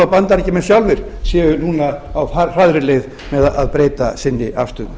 bandaríkjamenn sjálfir séu núna á hraðri leið með að breyta sinni afstöðu